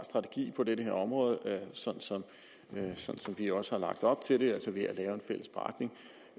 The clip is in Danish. strategi på det her område sådan som vi også har lagt op til det altså ved